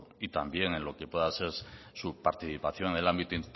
y también en lo que pueda ser su participación en el ámbito